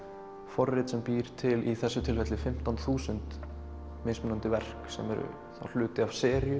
forrit sem býr til í þessu tilfelli fimmtán þúsund mismunandi verk sem eru hluti af seríu